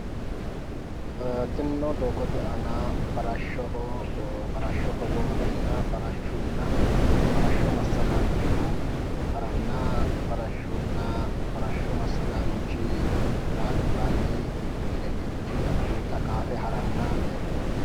Tinino doogote aana farashshoho hogombeenna farashshunna farashsho masagaanchu haranna farshshunna farashshu massagaanchi albaanni mittu wedellichi addinta qaafe garanna leeltawo.